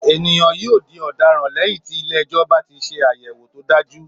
Ènìyàn yóò di ọ̀daràn lẹ́yìn tí ilé-ẹjọ́ bá ti ṣe àyẹ̀wò tó dájú